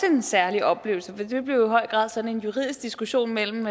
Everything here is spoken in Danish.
en særlig oplevelse for det blev jo i høj grad sådan en juridisk diskussion mellem